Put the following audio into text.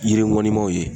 Yiri ŋɔni maw ye